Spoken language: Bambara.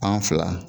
Fan fila